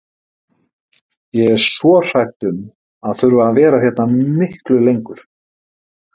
Ég er svo hrædd um að þurfa að vera hérna miklu lengur.